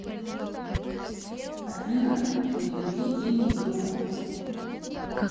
афина переведи денег другу